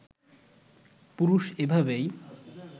পুরুষ এভাবেই